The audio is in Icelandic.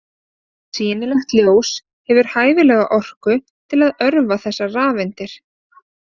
Sýnilegt ljós hefur hæfilega orku til að örva þessar rafeindir.